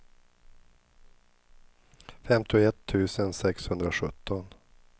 femtioett tusen sexhundrasjutton